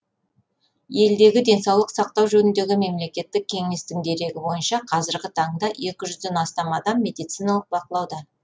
елдегі денсаулық сақтау жөніндегі мемлекеттік кеңестің дерегі бойынша қазіргі таңда екі жүзден астам адам медициналық бақылауда